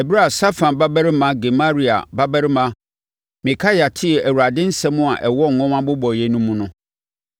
Ɛberɛ a Safan babarima Gemaria babarima Mikaia tee Awurade nsɛm a ɛwɔ nwoma mmobɔeɛ no mu no,